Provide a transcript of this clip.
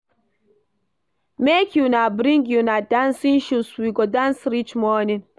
Make una bring una dancing shoes, we go dance reach morning